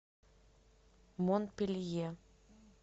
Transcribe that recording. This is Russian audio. монпелье